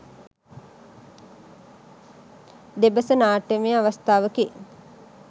දෙබස නාට්‍යමය අවස්ථාවකි.